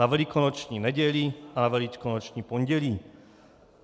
Na Velikonoční neděli a na Velikonoční pondělí.